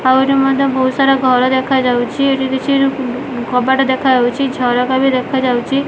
ଆଉ ଏଠି ମଧ୍ୟ ଭୋଉତ୍ ସାରା ଘର ଦେଖାଯାଉଛି। ଏଠି କିଛି ରୁ କବାଟ ଦେଖାଯାଉଛି ଝରକା ବି ଦେଖାଯାଉଛି।